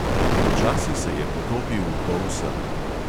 Počasi se je potopil v polsen.